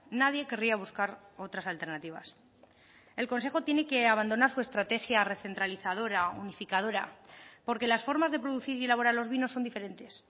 nadie querría buscar otras alternativas el consejo tiene que abandonar su estrategia recentralizadora unificadora porque las formas de producir y elaborar los vinos son diferentes